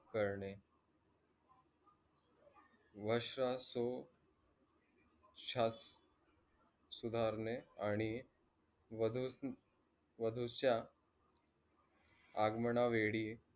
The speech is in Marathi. करणे वास सो चत सुधारणे आणि वादुच्या आगमनावेळी